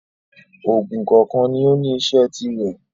Òògùn kọ̀ọ̀kan ní ó ní iṣẹ́ tirẹ̀